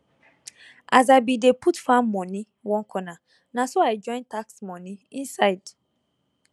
as i bin dey put farm moni one corner naso i join tax moni inside